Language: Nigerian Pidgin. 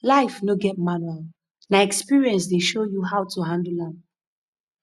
life no get manual na experience dey show you how to handle am